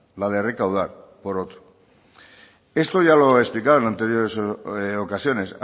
la de recaudar por otro esto ya lo he explicado en anteriores ocasiones